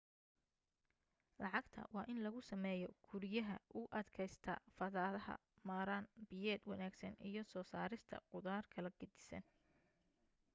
lacagta waa in lagu sameeyo guriyaha u adkaysta fatahaada maarayn biyeed wanaagsan iyo soo saarista khudaar kala gedisan